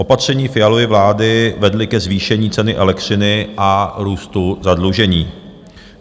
Opatření Fialovy vlády vedla ke zvýšení ceny elektřiny a růstu zadlužení.